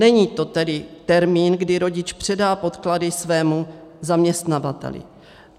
Není to tedy termín, kdy rodič předá podklady svému zaměstnavateli.